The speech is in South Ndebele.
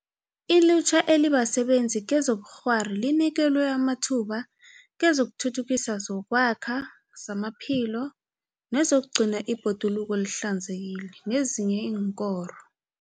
Ilutjha elibasebenzi kezobukghwari linikelwe amathuba kezokuthuthukisa zokwakha, zamaphilo, nezokugcina ibhoduluko lihlanzekile nezinye iinkoro.